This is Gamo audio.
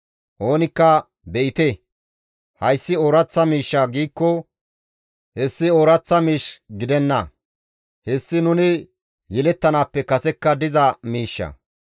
Oonikka, «Be7ite! Hayssi ooraththa miishsha» giikko hessi ooraththa miish gidenna; hessi nuni yelettanaappe kasekka diza miishsha.